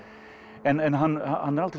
en hann hann er aldrei